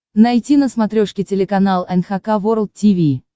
найти на смотрешке телеканал эн эйч кей волд ти ви